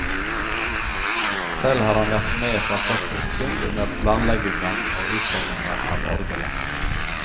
Selv har han vært med fra første sekund under planleggingen og utformingen av orgelet.